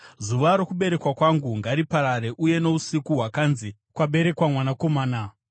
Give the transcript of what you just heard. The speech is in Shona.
“Zuva rokuberekwa kwangu ngariparare, uye nousiku hwakanzi, ‘Kwaberekwa mwanakomana!’